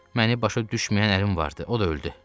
Məni başa düşməyən əlim vardı, o da öldü.